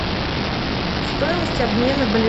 стоимость обмена боливара на реалы